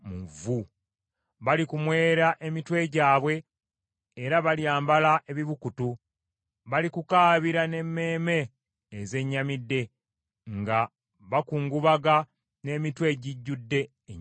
Balikumwera emitwe gyabwe, era Balyambala ebibukutu. Balikukaabira n’emmeeme ezennyamidde nga bakukungubaga n’emitima egijjudde ennyiike.